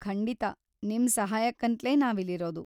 ಖಂಡಿತ, ನಿಮ್‌ ಸಹಾಯಕ್ಕಂತ್ಲೇ ನಾವಿಲ್ಲಿರೋದು.